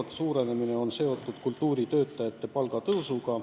Summa suurenemine on seotud kultuuritöötajate palga tõusuga.